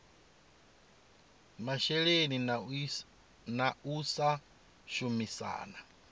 masheleni na u sa shumisana